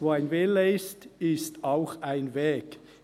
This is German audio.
Wo ein Wille ist, ist auch ein Weg.